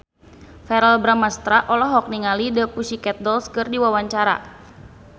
Verrell Bramastra olohok ningali The Pussycat Dolls keur diwawancara